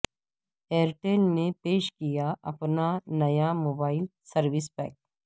year tell نے پیش کیا اپنا نیا موبائل سروس پیک